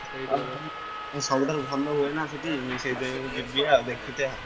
ହଁ ସବୁଠାରୁ ଭଲ ହୁଏ ନାଁ ସେଠି ମୁଁ ସେଇଥିନାଇଁ ଯିବି ଆଉ ଦେଖିତେ